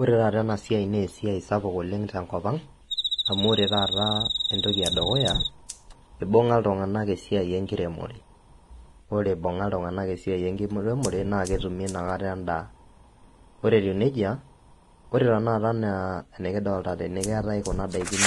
Orw taata enasia na esiai sapuk tenkopang amu ibunga ltunganak esiai enkiremore ore ibunga ltunganak esiai enkiremore naketume inakata endaa ore tanakata etiu nejia naketii kuna dakin